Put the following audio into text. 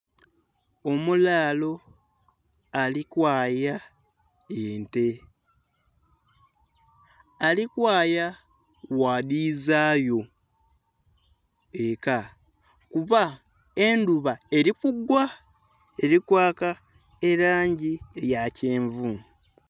Omulalo alikwaya ente, alikwaya bwadhizayo eka kuba edhuba erikugwaa erikwa erangi yakyenvu